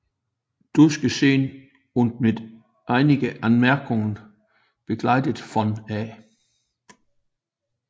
Durchgesehen und mit einigen Anmerkungen begleitet von A